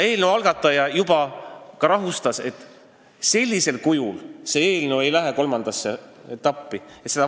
Eelnõu algataja esindaja juba ka rahustas meid, et sellisel kujul see eelnõu kolmandasse etappi ei lähe.